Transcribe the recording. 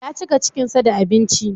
Ya cika cikinsa da abinci.